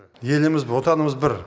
еліміз бір отанымыз бір